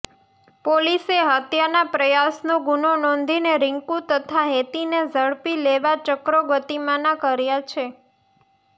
પોલીસે હત્યાના પ્રયાસનો ગુનો નોંધીને રીંકુ તથા હેતીને ઝડપી લેવા ચક્રો ગતિમાના કર્યા છે